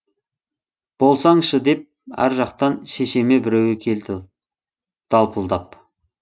болсаңшы деп ар жақтан шешеме біреуі келді далпылдап